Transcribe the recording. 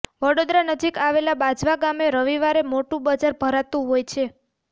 વડોદરા નજીક આવેલ બાજવા ગામે રવિવારે મોટુ બજાર ભરાતુ હોય છે